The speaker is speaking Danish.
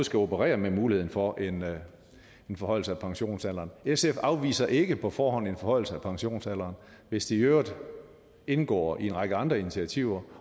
skal operere med muligheden for en forhøjelse af pensionsalderen sf afviser ikke på forhånd en forhøjelse af pensionsalderen hvis det i øvrigt indgår i en række andre initiativer